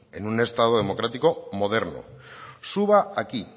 en un estado democrático moderno suba aquí